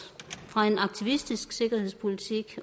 fra en aktivistisk sikkerhedspolitik